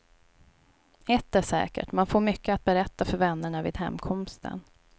Ett är säkert, man får mycket att berätta för vännerna vid hemkomsten.